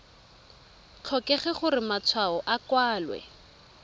tlhokege gore matshwao a kwalwe